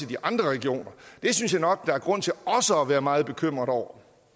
de andre regioner det synes jeg nok der er grund til også at være meget bekymret over